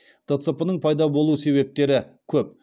дцп ның пайда болу себептері көп